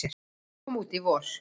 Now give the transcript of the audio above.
sem kom út í vor.